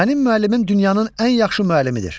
Mənim müəllimim dünyanın ən yaxşı müəllimidir.